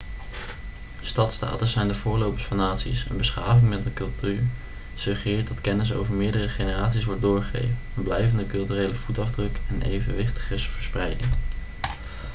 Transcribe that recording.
stadstaten zijn de voorlopers van naties een beschaving met een cultuur suggereert dat kennis over meerdere generaties wordt doorgegeven een blijvende culturele voetafdruk en evenwichtige verspreiding